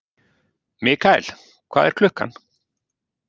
Mikael, hvað er klukkan?